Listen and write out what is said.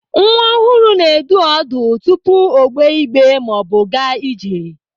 Nwa ọhụrụ na-adọ ọdụ tupu ogbe igbe maọbụ gaa ije.